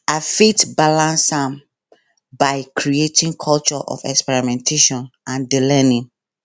i fit balance am by creating culture of experimentation and di learning